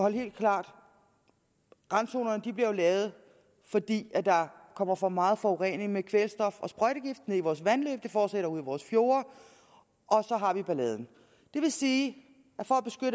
helt klart randzonerne bliver lavet fordi der kommer for meget forurening med kvælstof og sprøjtegifte i vores vandløb det fortsætter ud i vores fjorde og så har vi balladen det vil sige